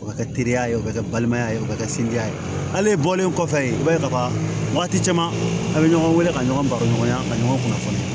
O bɛ kɛ teriya ye o bɛ kɛ balimaya ye o bɛ kɛ sinja ye hali e bɔlen kɔfɛ i b'a ye kaban wagati caman a' bɛ ɲɔgɔn wele ka ɲɔgɔn baɲɔgɔnya ka ɲɔgɔn kunnafoni